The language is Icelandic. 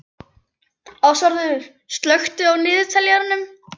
Ásvarður, slökktu á niðurteljaranum.